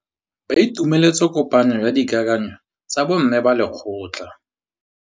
Ba itumeletse kôpanyo ya dikakanyô tsa bo mme ba lekgotla.